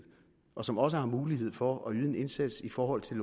og som også har mulighed for at yde en indsats i forhold til